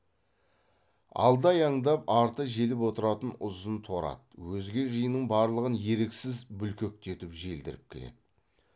алды аяңдап арты желіп отыратын ұзын торы ат өзге жиынның барлығын еріксіз бүлкектетіп желдіріп келеді